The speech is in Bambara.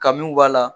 Kamiw b'a la